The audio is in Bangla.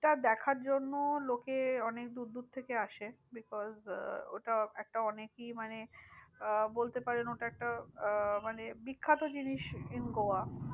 টা দেখার জন্য লোকে অনেক দূর দূর আসে। because ওটা একটা অনেকই মানে বলতে পারেন ওটা একটা আহ মানে বিখ্যাত জিনিস in গোয়া।